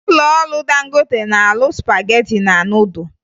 Ụlọọrụ Dangote na-arụ spagetị na nudụ